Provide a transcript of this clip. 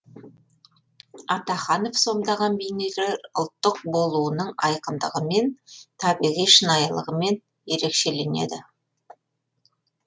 атаханов сомдаған бейнелер ұлттық болуының айқындығымен табиғи шынайылығымен ерекшеленеді